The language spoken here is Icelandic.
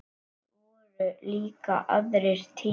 Það voru líka aðrir tímar.